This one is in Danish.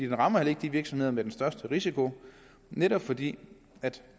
den rammer ikke virksomhederne med den største risiko netop fordi